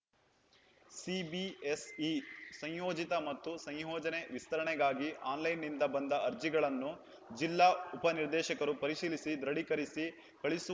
CBSE ಸಂಯೋಜಿತ ಮತ್ತು ಸಂಯೋಜನೆ ವಿಸ್ತರಣೆಗಾಗಿ ಆನ್‌ಲೈನ್‌ನಿಂದ ಬಂದ ಅರ್ಜಿಗಳನ್ನು ಜಿಲ್ಲಾ ಉಪನಿರ್ದೇಶಕರು ಪರಿಶೀಲಿಸಿ ದೃಢೀಕರಿಸಿ ಕಳುಹಿಸು